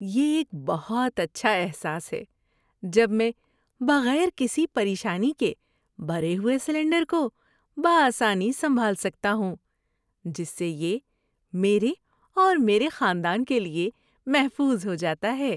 یہ ایک بہت اچھا احساس ہے جب میں بغیر کسی پریشانی کے بھرے ہوئے سلنڈر کو بہ آسانی سنبھال سکتا ہوں، جس سے یہ میرے اور میرے خاندان کے لیے محفوظ ہو جاتا ہے۔